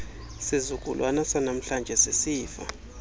sizukulwana sanamhlanje sisifa